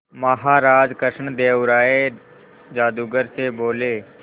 महाराज कृष्णदेव राय जादूगर से बोले